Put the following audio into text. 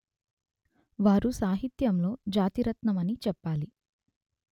వారు సాహిత్యంలో జాతి రత్నమని చెప్పాలి